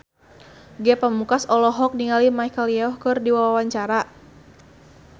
Ge Pamungkas olohok ningali Michelle Yeoh keur diwawancara